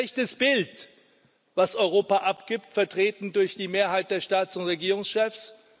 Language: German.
Das ist ein schlechtes Bild, das Europa abgibt, vertreten durch die Mehrheit der Staats und Regierungschefs.